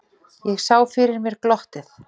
Ég sá fyrir mér glottið.